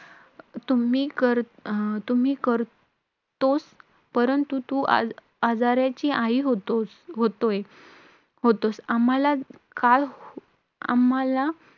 Thane station वरून मी आणि रोहित गेलेलो vacancy appointment होती आमची तिकडे आपल्या बेडकर college ला appointment होती.